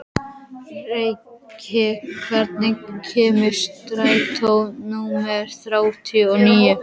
Ríkey, hvenær kemur strætó númer þrjátíu og níu?